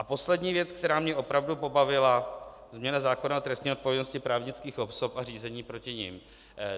A poslední věc, která mě opravdu pobavila - změna zákona o trestní odpovědnosti právnických osob a řízení proti nim.